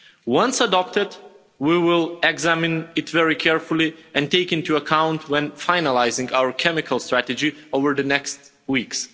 Once adopted, we will examine it very carefully and take it into account when finalising our chemical strategy over the next weeks.